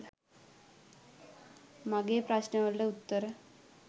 මගෙ ප්‍රශ්ණ වලට උත්තර.